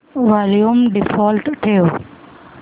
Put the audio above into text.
volume default ठेव